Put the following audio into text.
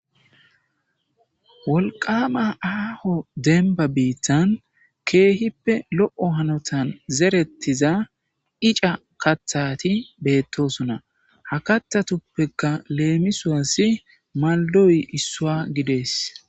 wolqama aaho denba biittan keehippe lo7o hanotan zerettiza ica kathati beettosona ha kathatuppeka leemisuwassi maldoyi issuwa gidees